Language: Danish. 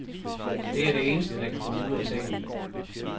Det er det eneste, der kan få mig ud af sengen.